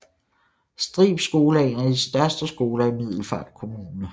Strib Skole er en af de største skoler i Middelfart Kommune